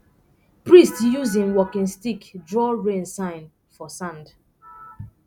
priest use him walking stick draw rain sign for sand